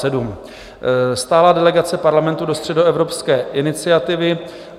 Stálá delegace Parlamentu do Středoevropské iniciativy.